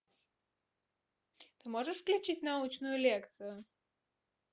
ты можешь включить научную лекцию